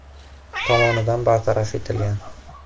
tomonidan) bartaraf etilgan.